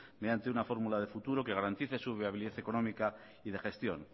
mediante una fórmula de futuro que garantice su viabilidad económica y de gestión